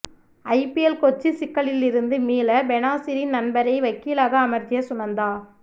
IPL Kochi சிக்கலிலிருந்து மீள பெனாசிரின் நண்பரை வக்கீலாக அமர்த்திய சுனந்தா